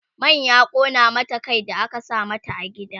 man ya ƙona mata Kai da aka sa mata a gida